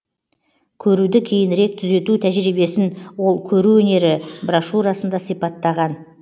көруді кейінірек түзету тәжірибесін ол көру өнері брошюрасында сипаттаған